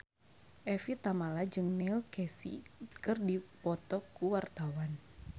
Evie Tamala jeung Neil Casey keur dipoto ku wartawan